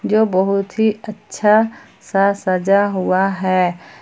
जो बहुत ही अच्छा सा सजा हुआ है।